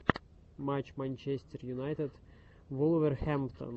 матч манчестер юнайтед вулверхэмптон